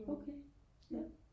okay ja